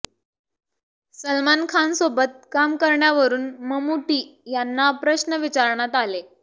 सलमान खानसोबत काम करण्यावरून ममूटी यांना प्रश्न विचारण्यात आले